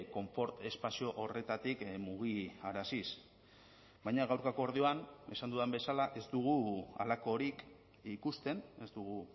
konfort espazio horretatik mugiaraziz baina gaurko akordioan esan dudan bezala ez dugu halakorik ikusten ez dugu